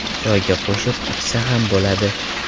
Choyga qo‘shib, ichsa ham bo‘ladi.